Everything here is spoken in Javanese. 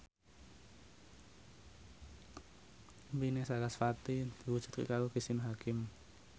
impine sarasvati diwujudke karo Cristine Hakim